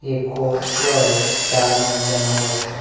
ఈ కోర్ట్ లో చాలా మంది జనాలు వస్తూ--